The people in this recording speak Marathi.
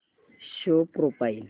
show profile